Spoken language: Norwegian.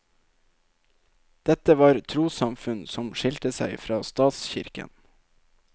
Dette var trossamfunn som skilte seg fra statskirken.